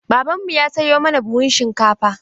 Babanmu ya sayo mana buhun shinkafa.